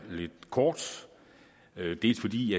lidt kort til dels fordi